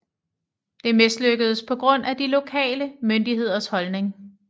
Det mislykkedes på grund af de lokale myndigheders holdning